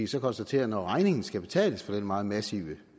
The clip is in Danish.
så konstatere når regningen skal betales for den meget massive